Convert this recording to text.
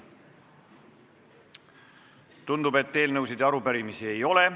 Tundub, et eelnõusid ega arupärimisi ei ole.